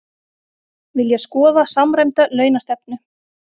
Vilja skoða samræmda launastefnu